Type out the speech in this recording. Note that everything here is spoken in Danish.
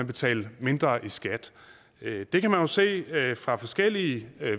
betale mindre i skat det kan man jo se fra forskellige